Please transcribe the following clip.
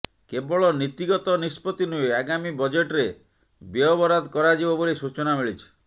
କେବଳ ନୀତିଗତ ନିଷ୍ପତ୍ତି ନୁହେଁ ଆଗାମୀ ବଜେଟ୍ରେ ବ୍ୟୟବରାଦ କରାଯିବ ବୋଲି ସୂଚନା ମିଳିଛି